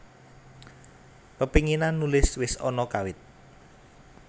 Pepenginan nulis wis ana kawit